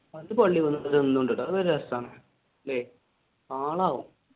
അത് രസാണ് അല്ലെ ആളാകും.